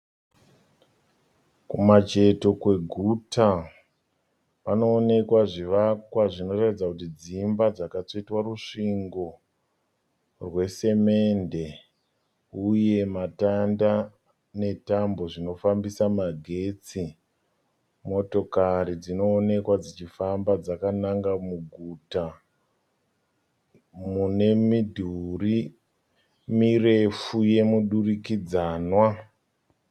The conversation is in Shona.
Kumacheto kweguta panoonekwa zvivakwa zvinoratidza kuti dzimba dzakatsvetwa rusvingo rwesemende uye matanda netambo zvinofambisa magetsi. Motokari dzinoonekwa dzichifamba dzakananga muguta munemidhuri murefu yemudurikanwa.